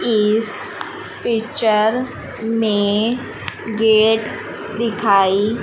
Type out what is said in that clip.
इस पिक्चर में गेट दिखाई--